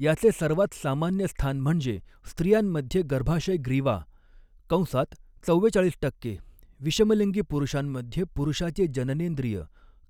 याचे सर्वात सामान्य स्थान म्हणजे स्त्रियांमध्ये गर्भाशय ग्रीवा कंसात चव्वेचाळीस टक्के, विषमलिंगी पुरुषांमध्ये पुरुषाचे जननेंद्रिय